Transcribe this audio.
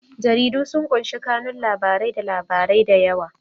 Jaridu sun ƙunshi kanun labarai da labarai da yawa.